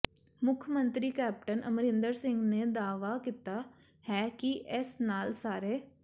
ਮੁੱਖ ਮੰਤਰੀ ਕੈਪਟਨ ਅਮਰਿੰਦਰ ਸਿੰਘ ਨੇ ਦਾਅਵਾ ਕੀਤਾ ਹੈ ਕਿ ਇਸ ਨਾਲ ਸਾਰੇ